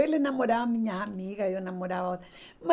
Ele namorava minha amiga, eu namorava